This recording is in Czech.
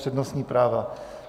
Přednostní práva.